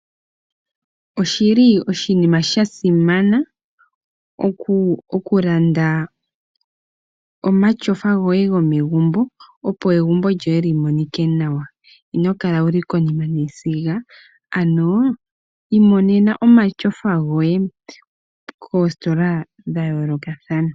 Oshi li oshinima sha simana okulanda omatyofa goye gomegumbo , opo egumbo lyoye li monike nawa. Ino kala wuli konima yesiga ano imonena omatyofa goye koostola dha yoolokathana.